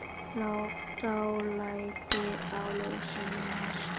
Dálæti á ljósum hestum